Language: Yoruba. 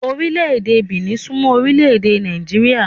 Orile-ede Benin sún mọ́ Orile-ede ède Nàìjíríà.